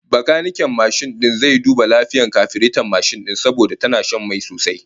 Bakaniken mashin din zai duba lafiyar kafireton mashin din mu, saboda tana shan mai sosai